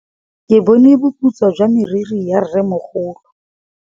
Ke bone boputswa jwa meriri ya rrêmogolo.